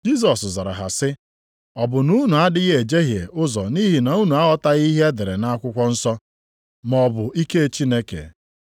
Jisọs zara ha sị, “Ọ bụ na unu adịghị ejehie ụzọ nʼihi na unu aghọtaghị ihe e dere nʼakwụkwọ nsọ, maọbụ ike Chineke?